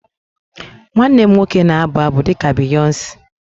Nwanne m nwoke na-abụ abụ dị ka Beyonce